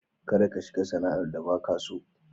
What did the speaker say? Kada ka shiga sana'ar da baka so.